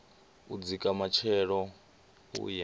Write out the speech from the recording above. u dzika matshelo u ye